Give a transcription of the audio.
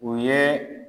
O ye